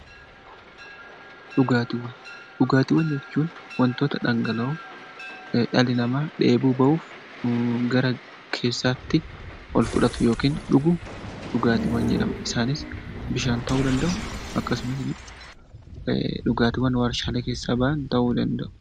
Dhugaatiiwwan jechuun wantoota dhangala'oo dhalli namaa dheebuu bahuuf gara keessaatti ol fudhannu dhugaatii jedhama. Isaanis bishaan ta'uu danda'u dhugaatiiwwan warshaalee keessaa bahan ta'uu danda'u .